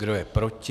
Kdo je proti?